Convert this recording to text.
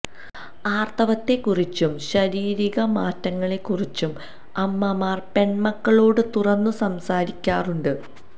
ആർത്തവത്തെ കുറിച്ചും ശരീരിക മാറ്റങ്ങളെ കുറിച്ചും അമ്മമാർ പെൺമക്കളോട് തുറന്നു സംസാരിക്കാറുണ്ട്